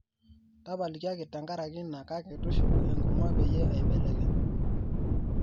tapalikiaki tenkaraki ina kake tushuku enkurma peyie aibelekeny